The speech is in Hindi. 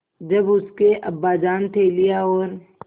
जब उसके अब्बाजान थैलियाँ और